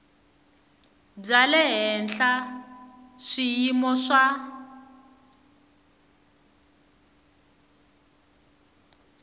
bya le henhla swiyimo swa